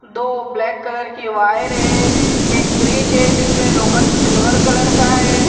दो black colour की wire है एक फ्रिज है जिसमें लोकंठ सिल्वर कलर का है।